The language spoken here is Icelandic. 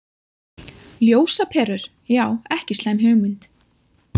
Ljósaperur, já ekki slæm hugmynd.